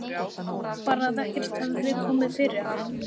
Bara að ekkert hefði komið fyrir hann.